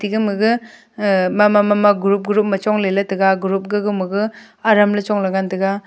gama gag uh mama mama group group chong leley taiga group ka gaga maga aram chongley ngan taiga.